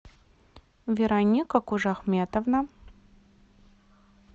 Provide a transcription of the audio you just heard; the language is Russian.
вероника кужахметовна